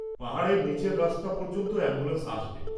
পাহাড়ের নীচের রাস্তা পর্যন্ত অ্যাম্বুলেন্স আসবে।